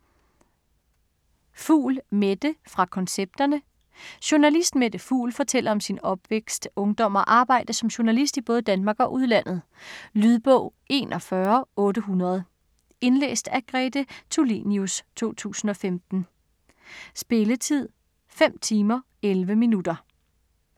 Fugl, Mette: Fra koncepterne Journalist Mette Fugl (f. 1949) fortæller om sin opvækst, ungdom og arbejdet som journalist i både Danmark og udlandet. Lydbog 41800 Indlæst af Grete Tulinius, 2015. Spilletid: 5 timer, 11 minutter.